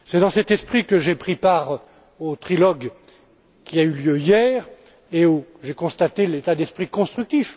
C'est dans cet esprit que j'ai pris part au trilogue qui a eu lieu hier et où j'ai constaté l'état d'esprit constructif.